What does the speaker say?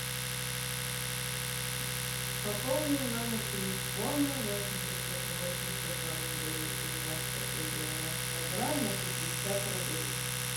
пополни номер телефона восемь девятьсот восемь сто сорок девять девяносто три девяносто два на пятьдесят рублей